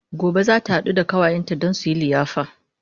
Gobe zata haɗu da ƙawayenta Dan suyi liyafa